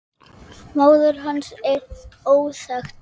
Á klónni slaka, vinur